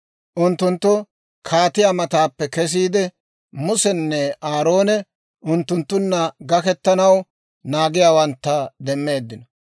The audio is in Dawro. Unttunttu kaatiyaa mataappe kesiide, Musenne Aaroone unttunttunna gakettanaw naagiyaawantta demmeeddino.